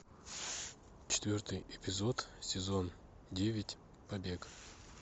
четвертый эпизод сезон девять побег